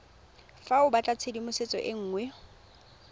fa o batlatshedimosetso e nngwe